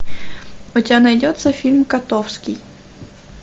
у тебя найдется фильм котовский